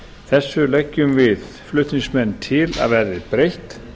þessu leggjum við flutningsmenn til að verði breytt